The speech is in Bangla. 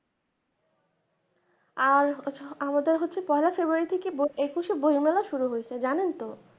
আর আমাদের হচ্ছে পয়লা ফেব্রুয়ারী থেকে একুশে বইমেলা শুরু হচ্ছে জানেন তো